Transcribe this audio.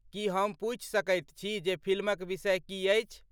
की हम पूछि सकैत छी जे फिल्मक विषय की अछि?